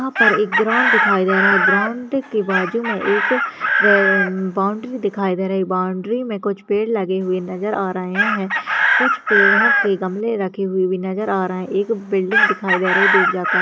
वहाँ पर एक ग्राउंड दिखाई दे रहा है ग्राउंड के बाजू में एक बाउंड्री दिखाई दे रही है बाउंड्री में कुछ पेड़ लगे हुए नजर आ रहे हैं कुछ पेड़ों के गमले रखे हुए भी नजर आ रहें है एक बिल्डिंग दिखाई दे रही --